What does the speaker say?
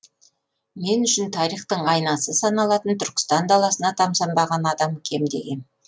мен үшін тарихтың айнасы саналатын түркістан даласына тамсанбаған адам кемде кем